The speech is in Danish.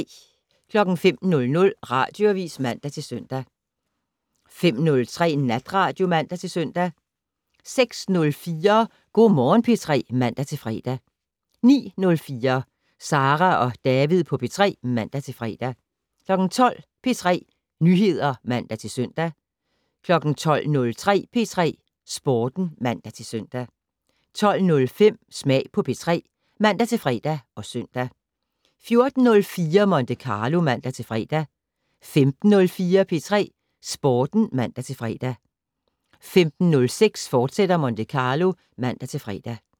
05:00: Radioavis (man-søn) 05:03: Natradio (man-søn) 06:04: Go' Morgen P3 (man-fre) 09:04: Sara og David på P3 (man-fre) 12:00: P3 Nyheder (man-søn) 12:03: P3 Sporten (man-søn) 12:05: Smag på P3 (man-fre og søn) 14:04: Monte Carlo (man-fre) 15:04: P3 Sporten (man-fre) 15:06: Monte Carlo, fortsat (man-fre)